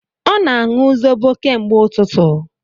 Ọ na-aṅụ zobo kemgbe ututu